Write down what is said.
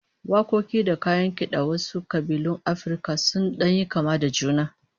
Wakoki da kayan kidan wasu kabilun Afirka sun dan yi kama da juna